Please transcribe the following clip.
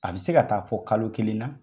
A bi se ka taa fɔ kalo kelen na.